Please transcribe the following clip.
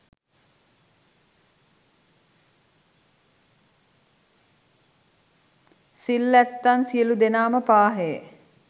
සිල් ඇත්තන් සියලු දෙනාම පාහේ